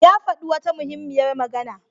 Ya faɗi wata muhimmiyar magana.